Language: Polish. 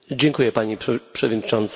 Pani Przewodnicząca!